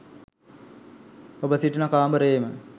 ඔබ සිටින කාමරයේම